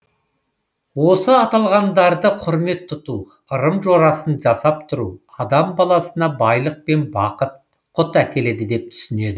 осы аталғандарды құрмет тұту ырым жорасын жасап тұру адам баласына байлық пен бақыт құт әкеледі деп түсінеді